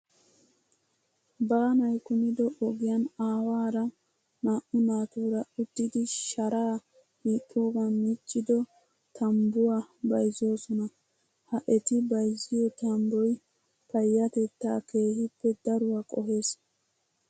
Baanayi kumido ogiyan aawaara naa'u naatuura uttidi sharaa hiixxogan miccido tambbuwaa bayizzoosona. Ha eti bayizziyoo tambboyi payyatettaa keehippe daruwaa qohes.